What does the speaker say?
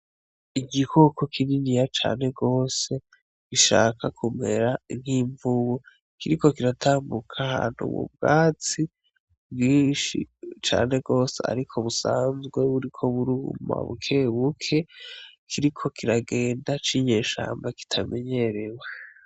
Igikoko kininiya cane gose gishaka kumera nk'imvubu, kiriko kiratambuka ahantu mu bwatsi bwinshi cane gose ariko busanzwe buriko buruma bukebuke, kiriko kiragenda c'inyeshamba kitamenyerewe.